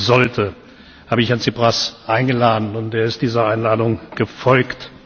sollte, habe ich Herrn Tsipras eingeladen, und er ist dieser Einladung gefolgt.